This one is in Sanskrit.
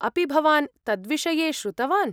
अपि भवान् तद्विषये श्रुतवान्?